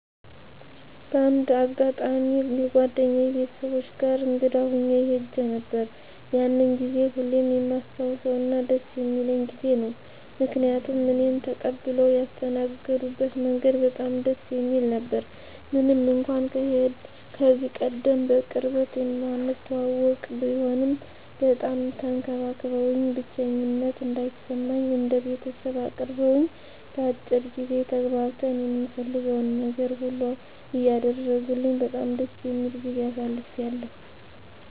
በአንድ አጋጣሚ የጓደኛየ ቤተሰቦች ጋር እንግዳ ሁኜ ሄጄ ነበር። ያንን ጊዜ ሁሌም የማስታውሰውና ደስ የሚለኝ ጊዜ ነው። ምክንያቱም እኔን ተቀብለው ያስተናገድበት መንገድ በጣም ደስ የሚል ነበረ። ምንም እንኳን ከዚህቀደም በቅርበት የማንተዋወቅ ቢሆንም በጣም ተንከባክበውኝ፣ ብቸኝነት እንዳይሰማኝ እንደ ቤተሰብ አቅርበውኝ፣ በአጭር ጊዜ ተግባብተን የምፈልገውን ነገር ሁሉ እያደረጉልኝ በጣም ደስ የሚል ጊዜ አሳልፌያለሁ።